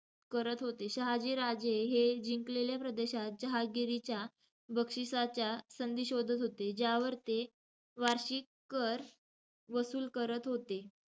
करत होते. शहाजीराजे हे जिंकलेल्या प्रदेशात जहागीरच्या बक्षिसाच्या संधी शोधत होते, ज्यावर ते वार्षिक कर वसूल करत होते.